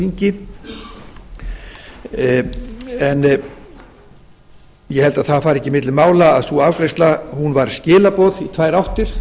á þingi en ég held að það fari ekki milli mála að sú afgreiðsla var skilaboð í tvær áttir